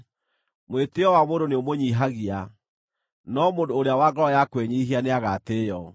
Mwĩtĩĩo wa mũndũ nĩũmũnyiihagia, no mũndũ ũrĩa wa ngoro ya kwĩnyiihia nĩagatĩĩo.